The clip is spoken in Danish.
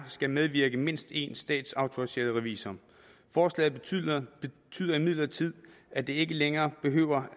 skal medvirke mindst en statsautoriseret revisor forslaget betyder imidlertid at der ikke længere behøver